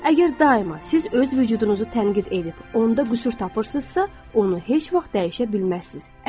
Əgər daima siz öz vücudunuzu tənqid edib onda qüsur tapırsınızsa, onu heç vaxt dəyişə bilməzsiniz.